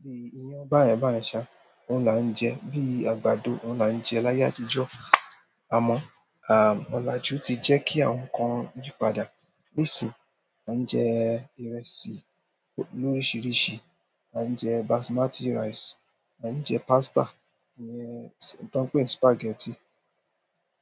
bí i iyán, báyẹn báyẹn ṣá, oun là ń jẹ. Bí i àgbàdo ọ́un là ń jẹ láyé àtijọ́. Àmọ́, à, ọlajú ti jẹ́ kí àwọn nǹkan yí padà. Nísìí, a ń jẹ ìrẹsì lórisiríṣi, a ń jẹ Basmati rice, a ń jẹ pasta, ìyẹn tí wọ́n ń pè ní spaghetti.